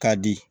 K'a di